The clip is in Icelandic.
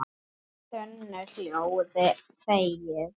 þunnu hljóði þegir